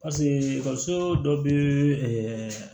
Paseke ekɔliso dɔ bɛ ɛɛ